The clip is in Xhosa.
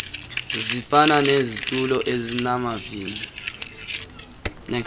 zifana nezitulo ezinamavili